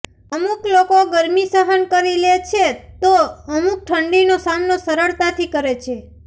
અમુક લોકો ગરમી સહન કરી લે છે તો અમુક ઠંડીનો સામનો સરળતાથી કરે છે